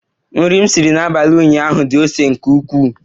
Nri m siri n'abalị ụnyaahụ di ose nke ukwuu.